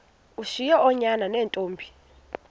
ushiye oonyana neentombi